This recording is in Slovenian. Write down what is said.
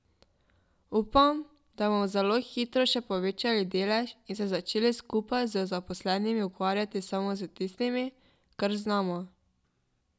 Upom, da bomo zelo hitro še povečali delež in se začeli skupaj z zaposlenimi ukvarjati samo s tistim, kar znamo.